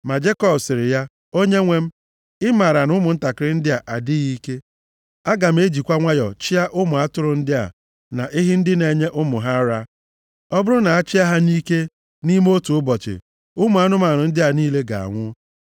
Ma Jekọb sịrị ya, “Onyenwe m, ị maara na ụmụntakịrị ndị a adịghị ike, aga m ejikwa nwayọọ chịa ụmụ atụrụ ndị a na ehi ndị na-enye ụmụ ha ara. Ọ bụrụ na a chịa ha nʼike nʼime otu ụbọchị, ụmụ anụmanụ ndị a niile ga-anwụ.